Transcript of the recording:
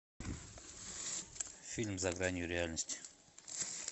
фильм за гранью реальности